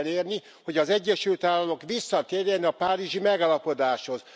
El kell érni, hogy az Egyesült Államok visszatérjen a párizsi megállapodáshoz.